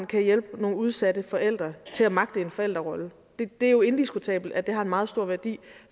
kan hjælpe nogle udsatte forældre til at magte en forældrerolle det er jo indiskutabelt at det har en meget stor værdi